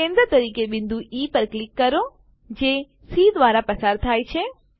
કેન્દ્ર તરીકે બિંદુ ઇ પર ક્લિક કરો જે સી દ્વારા પસાર થાય છે